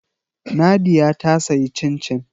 Nadia ta sayi cin-cin